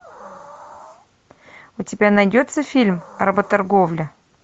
у тебя найдется фильм работорговля